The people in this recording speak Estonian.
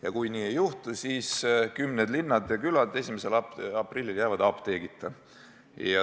" Ja kui nii ei juhtu, siis jäävad kümned linnad ja külad 1. aprillil apteegita.